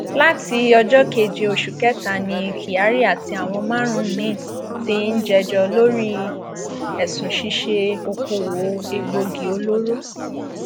láti ọjọ keje oṣù kẹta ni kyari àti àwọn márùnún miín ti ń jẹjọ lórí ẹsùn ṣíṣe okòòwò egbòogi olóró